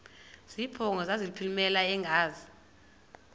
zibongo zazlphllmela engazi